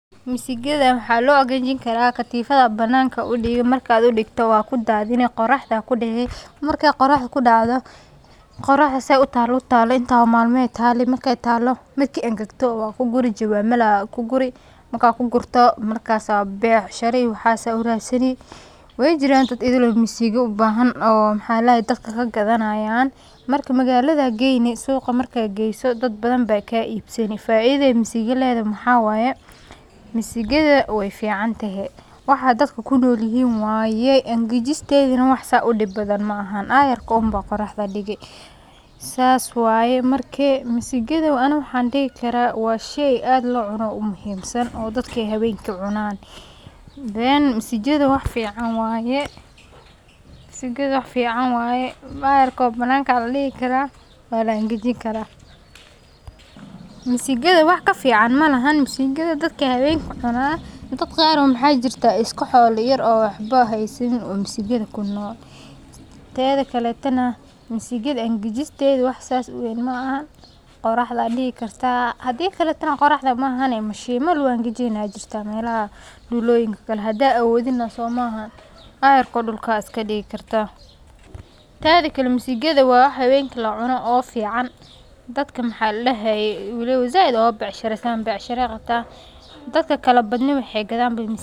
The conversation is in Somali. Mesigatha waxa lo igajinkarah, qadufatha Aya bananaka u Digi marka marka u digatoh wakudathini qiraxda, kudeci marka qiraxda kudactoh qoraxdana setha I taloh intaasi malamo Aya tale marka talaoh marki enkaktoh wakokori jawamal Aya kukori marka ku kijirtoh, markas becshara waxas uvratsani wajiran dad ethil oo misiga u bahan maxaldahay dadka kagathanayan marka magalada geeyni suga marka geeysoh dad bathan ba ka ibsani faitha masiga leethaho maxatahay misigatha wayficantahay waxa dadaka kunolyahin waxaye inkajisgetha mid aad u dib bathan maahan ayaar ko amah qiraxda Digi sas waye marki misigatha Ani waxa dehi karah washey aad lo cuunoh oo muhim aah mise oo dadka haweenki cunanan then misigatha waxfican waye, aayargo bananga Aya kadigi karah Wala ingejini karah, misigatha wax kalfican malahan masigatha dadaka haweenka cunanan dad Qaar maxajirtah iska xola daqata eeh, oo waxbo hasini oo misigatha kunool tethakaletokanh misigatha inkejistetha wax sethasi u weyn maahn qoraxda Aya Digi kartah hadikalitena qoraxda maahan sheemala lagu hajaini Aya jirtah mealaha buloyinka oo Kali handa awoothiena somaahn ayarko dulka iskadigi kartah , tethakaletokanh misigatha wa wax haweenki lacunoh oo fican dadka waxaladahaye waliba saait ugu becshareysataan becshara Aya Qabtah dadkali badni waxay kathan.